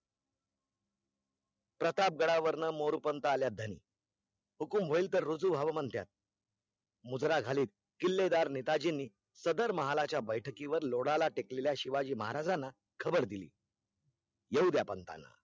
प्रतापगडावरून Moropant आल्या ध्यानी, हुकुम होयील तर रुजू होयील म्हणत्यात, मुजरा घालीत किल्ले दर नेतांजी नी, सदर महालाच्या बैठकीवर लोडाला टेकलेल्या शिवाजी महाराजणा खबर दिली येऊ द्या पंथांना